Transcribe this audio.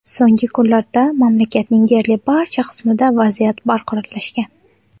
So‘nggi kunlarda mamlakatning deyarli barcha qismida vaziyat barqarorlashgan.